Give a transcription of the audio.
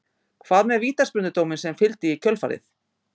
Hvað með vítaspyrnudóminn sem fylgdi í kjölfarið?